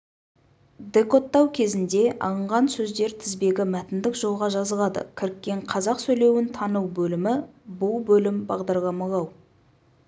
декодтау кезінде алынған сөздер тізбегі мәтіндік жолға жазылады кіріккен қазақ сөйлеуін тану бөлімі бұл бөлім бағдарламалау